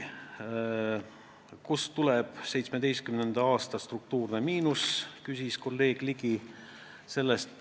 Kust tuleb 2017. aasta struktuurne miinus, küsis kolleeg Ligi.